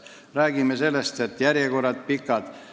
Me räägime sellest, et järjekorrad on pikad.